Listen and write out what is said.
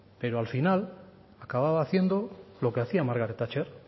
pero al final acababa haciendo lo que hacía margaret thatcher